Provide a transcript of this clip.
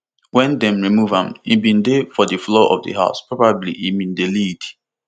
wen dem remove am im bin dey for di floor of di house probably im bin dey lead